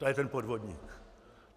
To je ten podvodník!